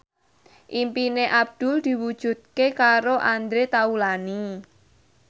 impine Abdul diwujudke karo Andre Taulany